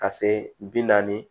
Ka se bi naani